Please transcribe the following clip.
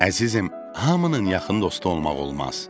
Əzizim, hamının yaxın dostu olmaq olmaz.